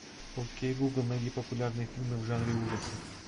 окей гугл найди популярные фильмы в жанре ужасы